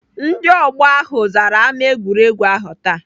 Ndị ọgbọ ahụ zara ámá egwuregwu ahụ taa.